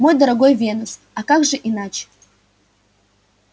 мой дорогой венус а как же иначе